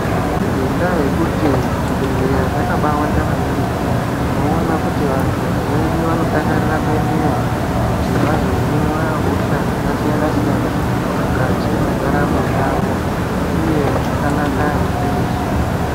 Ngendaa yekuti zvibhedhleya zvakabawanda maningi, tinoona kuti vanhu vazhinji vanodakarira kuendeyo kuti vazohinwe hosha dzakasiyana siyana mwukati mwendaramo yavo uye zvakanaka izvi.